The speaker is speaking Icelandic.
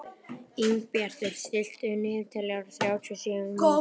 Ingibjartur, stilltu niðurteljara á þrjátíu og sjö mínútur.